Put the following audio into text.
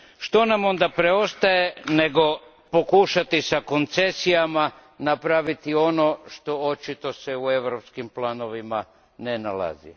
Što nam onda preostaje, nego pokušati sa koncesijama napraviti ono što očito se u europskim planovima ne nalazi?